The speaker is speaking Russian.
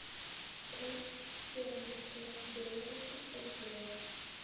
курс стерлингского доллара к бальбоа